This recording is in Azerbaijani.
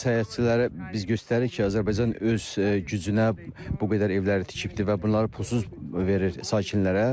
Səyyahçılara biz göstəririk ki, Azərbaycan öz gücünə bu qədər evləri tikibdir və bunları pulsuz verir sakinlərə.